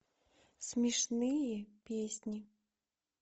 смешные песни